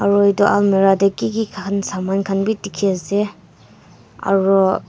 aro etu almeerah dae kiki khan saman khan bhi dekhe ase aro--